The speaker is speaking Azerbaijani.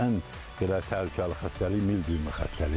Ən belə təhlükəli xəstəlik mil döyünmə xəstəliyi var.